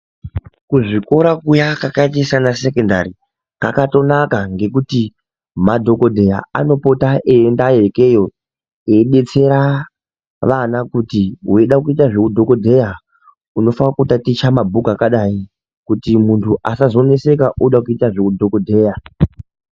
Kuzvikora kuya kwakaita sana sekondari kwakatonaka ngekuti madhokodheya anopota eiendeyo ikweyo veidetsera kuti vana veida kuita zvechidhokodheya unofana kutaticha mabhuku akadai kuti muntu asazonetseka oda kuita zvechi dhokodheya.